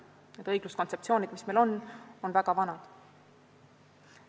Need õigluskontseptsioonid, mis meil on, on väga vanad.